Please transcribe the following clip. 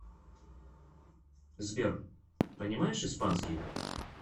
сбер понимаешь испанский